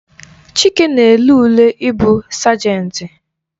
Chike na-ele ule ị bụ sajenti